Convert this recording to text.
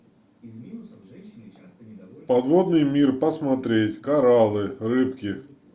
подводный мир посмотреть кораллы рыбки